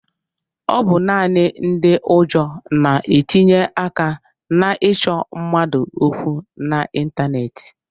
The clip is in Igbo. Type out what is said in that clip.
Ọ bụ naanị ndị ụjọ na-etinye aka na-ịchọ mmadụ okwu n'ịntaneetị.